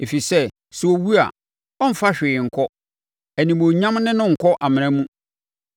ɛfiri sɛ, sɛ ɔwu a, ɔremfa hwee nkɔ, nʼanimuonyam ne no renkɔ amena mu.